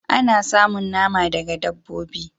Ana samun nama daga dabbobi